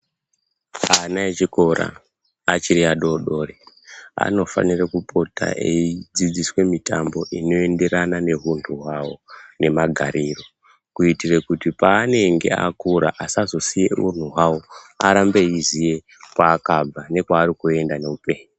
Ana echikora, achiri adodori anofanira kupota eidzidziswa mitambo inoenderana nehundu hwawo nemagariro kuitira kuti paanenge akura asazosiye hunhu hwawo arambe eiziya kwaakabva nekwaari kuenda neupenyu.